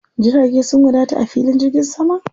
Jirage sun wadata a filin jirgin saman?